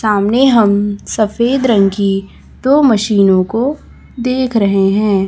सामने हम सफेद रंग की दो मशीनों को देख रहे हैं।